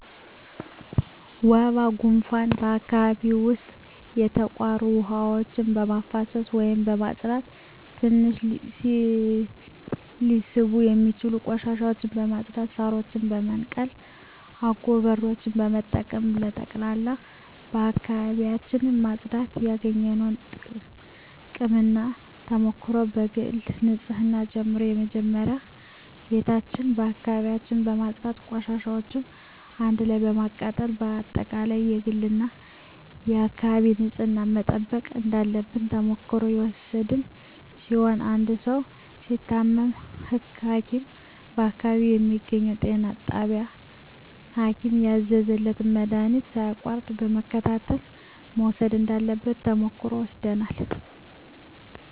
ወባ ጉንፋን በአካባቢው ዉስጥ የተቋሩ ዉሀዎችን በማፋሰስ ወይም በማፅዳት ትንኝ ሊስቡ የሚችሉ ቆሻሻዎችን በማፅዳት ሳሮችን በመንቀል አጎበሮችን በመጠቀም በጠቅላላ አካባቢዎችን ማፅዳት ያገኘነዉ ጥቅምና ተሞክሮ ከግል ንፅህና ጀምሮ መጀመሪያ ቤታችን አካባቢያችን በማፅዳት ቆሻሻዎችን አንድ ላይ በማቃጠል በአጠቃላይ የግልና የአካባቢ ንፅህናን መጠበቅ እንዳለብን ተሞክሮ የወሰድን ሲሆን አንድ ሰዉ ሲታመም ሀኪም በአካባቢው በሚገኘዉ ጤና ጣቢያ ሀኪም ያዘዘለትን መድሀኒት ሳያቋርጥ በመከታተል መዉሰድ እንዳለበት ተሞክሮ ወስደናል